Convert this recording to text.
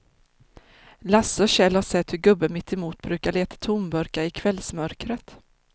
Lasse och Kjell har sett hur gubben mittemot brukar leta tomburkar i kvällsmörkret.